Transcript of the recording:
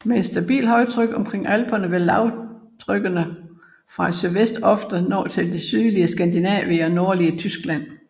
Med et stabilt højtryk omkring alperne vil lavtrykkene fra sydvest ofte nå til det sydlige Skandinavien og nordlige Tyskland